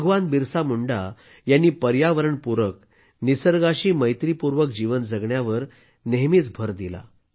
भगवान बिरसा मुंडा यांनी पर्यावरण पूरक निसर्गाशी मैत्रीपूर्वक जीवन जगण्यावर नेहमी भर दिला